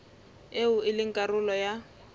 eo e leng karolo ya